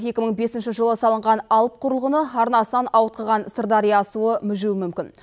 екі мың бесінші жылы салынған алып құрылғыны арнасынан ауытқыған сырдария суы мүжуі мүмкін